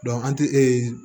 an tɛ e